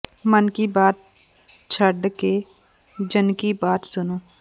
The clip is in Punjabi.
ਮਨ ਕੀ ਬਾਤ ਛੱਡ ਕੇ ਜਨ ਕੀ ਬਾਤ ਸੁਣੋ